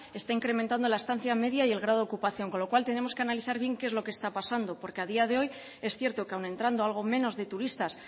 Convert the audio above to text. está incrementando la estancia media y el grado ocupación con lo cual tenemos que analizar bien qué es lo que está pasando porque a día de hoy es cierto que aun entrando algo menos de turistas